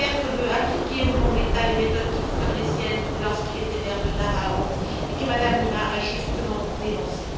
Duterte veut appliquer, au nom de l'État, les méthodes qui furent les siennes lorsqu'il était maire de Davao et que Mme de Lima a justement dénoncées.